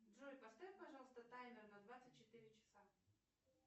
джой поставь пожалуйста таймер на двадцать четыре часа